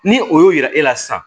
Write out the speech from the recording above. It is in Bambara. Ni o y'o yira e la sisan